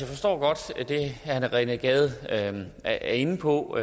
forstår godt det herre rené gade er inde på